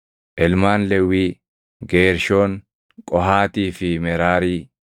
Ilmaan Lewwii: Geershoon, Qohaatii fi Meraarii.